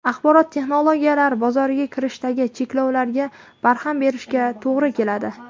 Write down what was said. Axborot texnologiyalari bozoriga kirishdagi cheklovlarga barham berishga to‘g‘ri keladi.